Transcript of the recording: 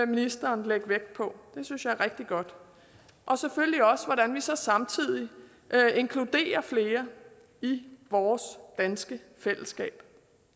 ministeren lægge vægt på det synes jeg er rigtig godt og selvfølgelig også om hvordan vi så samtidig inkluderer flere i vores danske fællesskab